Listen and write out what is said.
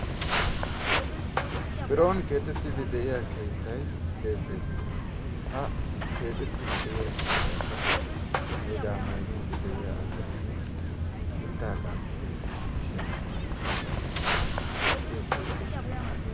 Biron keexettiddi deiiya keettay beettees ha keexettiddi deiiya keettaakka neegaa meegiidi deiiya asatinne mittaa qanxxi qanxi shiishi asatikka issippe beettoosona